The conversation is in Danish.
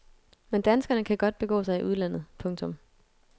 Men danskere kan godt begå sig i udlandet. punktum